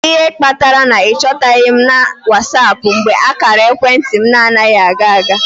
Kedu ihe kpatara na ị chọtaghị m na WhatsApp mgbe ákàrà ekwentị m anaghị aga aga?